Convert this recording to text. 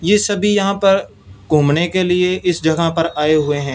ये सभी यहां पर घूमने के लिए इस जगह पर आए हुए हैं।